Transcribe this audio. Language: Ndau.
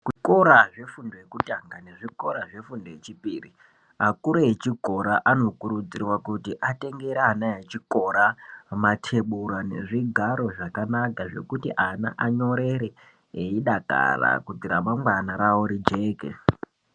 Zvikora zvefundo yekutanga nezvikora zvefundo yechipiri akuru echikora anokurudzirwa kutengera ana echikora matebura nezvigaro zvakanaka zve kuti ana anyorerr yidakarira kuitire kuti ramangwana ravo rijeke.